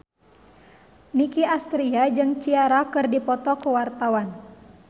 Nicky Astria jeung Ciara keur dipoto ku wartawan